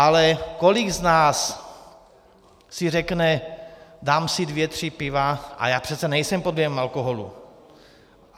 Ale kolik z nás si řekne: Dám si dvě, tři piva, ale já přece nejsem pod vlivem alkoholu.